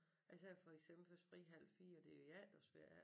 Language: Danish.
Altså jeg har for eksempel først fri halv 4 og det jo efterårsferie